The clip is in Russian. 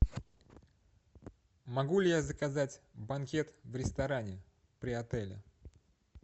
могу ли я заказать банкет в ресторане при отеле